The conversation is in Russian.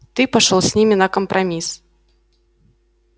ты пошёл с ними на компромисс